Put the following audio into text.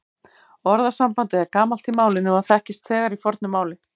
Orðasambandið er gamalt í málinu og þekkist þegar í fornu máli.